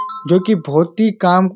जो कि बहुत ही काम --